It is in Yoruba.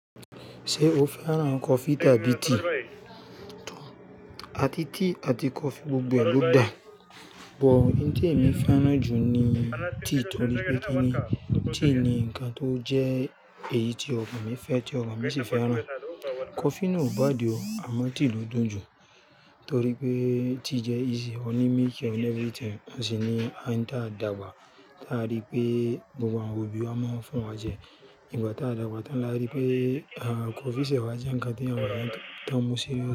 Ṣé o fẹ́ràn kọfí tàbí tíì? Àti tíì àti kọfí gbogbo ẹ ló da, bọ̀ ohun tí èmi fẹ́ràn jù ni tíì torí pé kí ni, tíì ni nǹkan tó jẹ́ èyí tí ọkàn mi fẹ́ tí ọkàn mi sì fẹ́ràn. Kọfí náà ò bá di ọ̀, àmọ́ tíì ló dùn jù torí pé tíì jẹ́ easy, o ní milk and everything, ó sì ní oun tí ádagbà tí a rí pé gbogbo àwọn òbí wa máa ń fún wa jẹ. Ìgbà tí a dàgbà tán la rí pé, à, kọfí ṣẹ̀ wá jẹ́ ǹkan tí àwọn èèyàn tó ń mú sí.